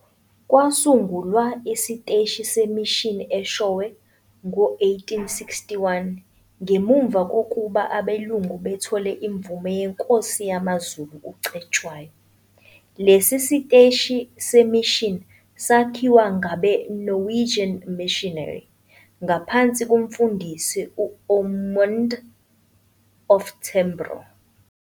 Kwasungulwa isiteshi se-mission Eshowe ngo 1861 ngemuva kokuba abelungu bethole imvume yeNkosi yamaZulu uCetshwayo, lesi siteshi se-mission sakhiwa ngabe- Norwegian missionary, ngaphansi koMfundisi u-Ommund Oftebro.